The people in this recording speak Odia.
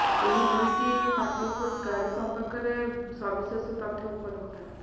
ଏହି ଦୁଇଟି ପୋର୍ଟାଲରେ ଗାଡି ସମ୍ପର୍କରେ ସବିଶେଷ ତଥ୍ୟ ଉପଲବ୍ଧ